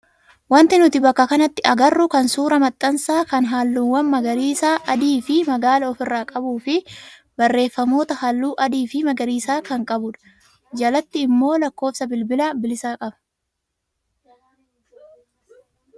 Wanti nuti bakka kanatti agarru kun suuraa maxxansa kan halluuwwan magariisa, adii fi magaala ofirraa qabuu fi barreeffamoota halluu adii fi magariisa qabu kan qabudha. Jalatti immoo lakkoofsa bilbila bilisaa qaba.